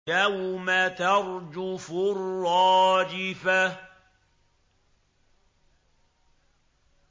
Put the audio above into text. يَوْمَ تَرْجُفُ الرَّاجِفَةُ